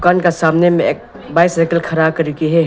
दुकान के सामने में बाइसाइकल खड़ा कर के है।